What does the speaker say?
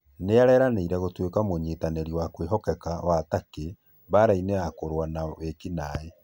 Nĩeranĩire gũtuĩka mũnyitanĩri wa kwĩhokeka wa Takĩ mbaarainĩ ya kũrũa na wĩkinaĩ